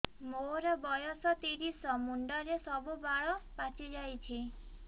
ମୋର ବୟସ ତିରିଶ ମୁଣ୍ଡରେ ସବୁ ବାଳ ପାଚିଯାଇଛି